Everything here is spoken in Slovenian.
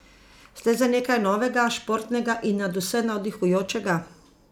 Ste za nekaj novega, športnega in nadvse navdihujočega?